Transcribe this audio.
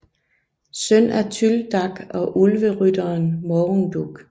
Søn af Tyldak og Ulverytteren Morgendug